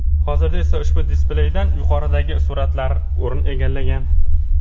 Hozirda esa ushbu displeydan yuqoridagi suratlar o‘rin egallagan.